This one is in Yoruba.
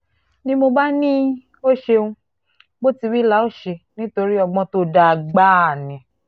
ni mo bá ní ó ṣeun bó ti wí la óò ṣe nítorí ọgbọ́n tó dáa gbáà ni